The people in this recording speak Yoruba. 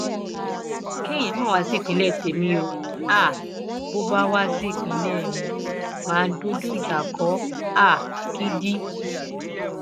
kéèyàn má wá sí ìpínlẹ témi o um bó bá wá sí ìpínlẹ mi mà á dojú ìjà kọ ọ um gidi